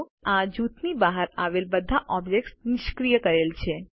નોંધ લો કે આ જૂથની બહાર આવેલા બધા ઓબ્જેક્ત્સ નિષ્ક્રિય કરેલ છે